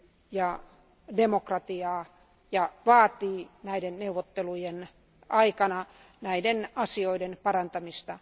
ja demokratiaa ja vaatii neuvottelujen aikana näiden asioiden parantamista.